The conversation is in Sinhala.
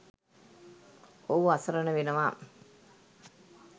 ඔහු අසරණ වෙනවා.